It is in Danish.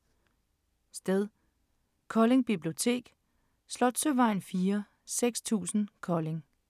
Sted: Kolding Bibliotek, Slotsøvejen 4, 6000 Kolding